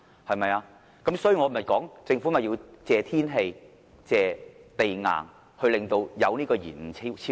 所以，我說政府要感謝天氣，感謝地硬而引致高鐵延誤和超支。